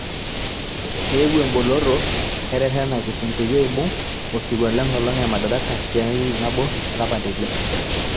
Eewuo eboloto eretena Kisum peyie eibung osirua le nkolong e Madaraka tentariki nabo olapa le ile.